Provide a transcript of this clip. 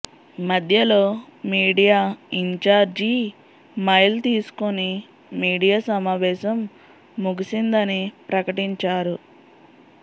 మధ్యలో media in charge మైల్ తీసుకుని మీడియా సమావేశం ముగిసిందని ప్రకటించారు